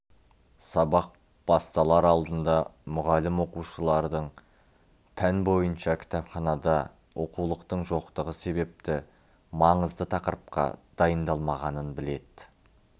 сабақ басталар алдында мұғалім оқушылардың пән бойынша кітапханада оқулықтың жоқтығы себепті маңызды тақырыпқа дайындалмағанын біледі